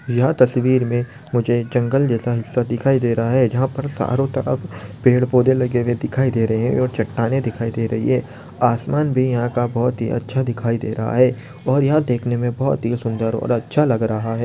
यह तस्वीर मे मुझे जंगल जैसा हिस्सा दिखाई दे रहा है जहा पर चारों तरफ पेड़ पौधे लगे हुए दिखाई दे रहे है और चट्टानें दिखाई दे रही है आसमान भी यहा का बहुत ही अच्छा दिखाई दे रहा है और यहा देखने मे बहुत ही सुंदर और अच्छा लग रहा है।